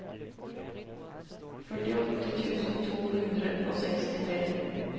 førtiåtte tusen to hundre og sekstitre